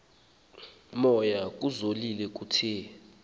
moya kuzolile kuthe